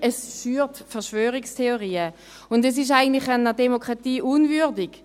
Es schürt Verschwörungstheorien, und es ist eigentlich einer Demokratie unwürdig.